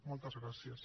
moltes gràcies